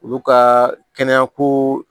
Olu ka kɛnɛya ko